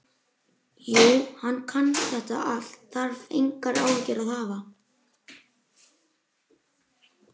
Jú, hann kann þetta allt, þarf engar áhyggjur að hafa.